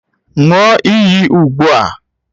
Ṅụọ iyi ugbu a!